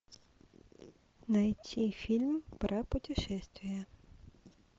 найти фильм про путешествия